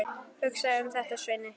Hugsaðu um þetta, Svenni!